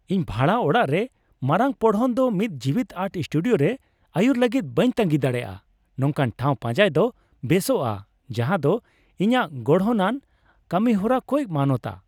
ᱤᱧ ᱵᱷᱟᱲᱟ ᱚᱲᱟᱜ ᱨᱮ ᱢᱟᱨᱟᱝ ᱯᱚᱲᱦᱚᱱ ᱫᱚ ᱢᱤᱫ ᱡᱤᱣᱤᱫ ᱟᱨᱴ ᱥᱴᱩᱰᱤᱭᱳ ᱨᱮ ᱟᱹᱨᱩᱭ ᱞᱟᱹᱜᱤᱫ ᱵᱟᱹᱧ ᱛᱟᱸᱜᱤ ᱫᱟᱲᱮᱭᱟᱜᱼᱟ ᱾ ᱱᱚᱝᱠᱟᱱ ᱴᱷᱟᱣ ᱯᱟᱸᱡᱟᱭ ᱫᱚ ᱵᱮᱥᱚᱜᱼᱟ ᱡᱟᱦᱟᱸᱫᱚ ᱤᱧᱟᱹᱜ ᱜᱚᱲᱦᱚᱱᱟᱱ ᱠᱟᱹᱢᱤᱦᱚᱨᱟ ᱠᱚᱭ ᱢᱟᱱᱟᱛᱟᱣᱟ ᱾